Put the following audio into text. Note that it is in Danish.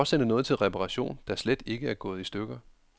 Hvorfor sende noget til reparation, der slet ikke er gået i stykker.